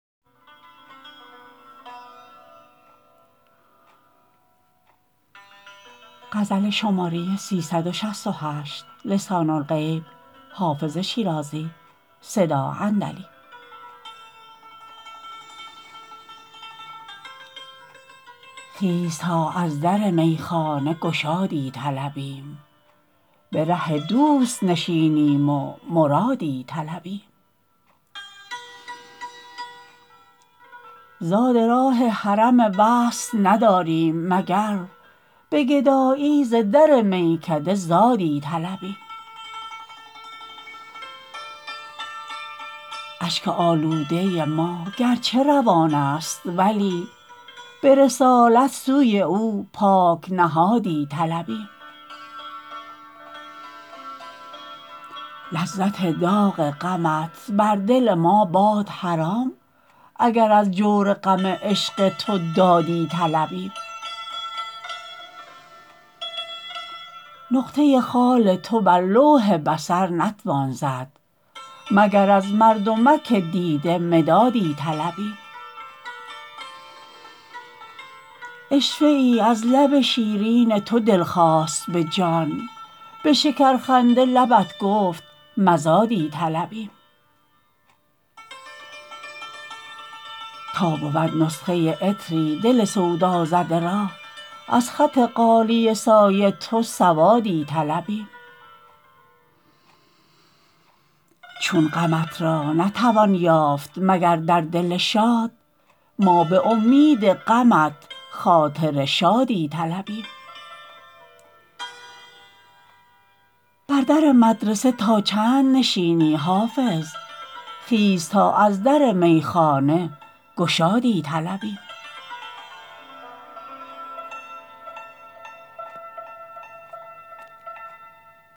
خیز تا از در میخانه گشادی طلبیم به ره دوست نشینیم و مرادی طلبیم زاد راه حرم وصل نداریم مگر به گدایی ز در میکده زادی طلبیم اشک آلوده ما گرچه روان است ولی به رسالت سوی او پاک نهادی طلبیم لذت داغ غمت بر دل ما باد حرام اگر از جور غم عشق تو دادی طلبیم نقطه خال تو بر لوح بصر نتوان زد مگر از مردمک دیده مدادی طلبیم عشوه ای از لب شیرین تو دل خواست به جان به شکرخنده لبت گفت مزادی طلبیم تا بود نسخه عطری دل سودازده را از خط غالیه سای تو سوادی طلبیم چون غمت را نتوان یافت مگر در دل شاد ما به امید غمت خاطر شادی طلبیم بر در مدرسه تا چند نشینی حافظ خیز تا از در میخانه گشادی طلبیم